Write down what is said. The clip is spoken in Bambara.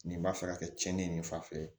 Nin b'a fɛ ka kɛ tiɲɛni ye nin fa fɛ